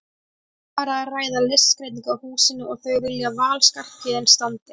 Nú er farið að ræða listskreytingu á húsinu og þau vilja að val Skarphéðins standi.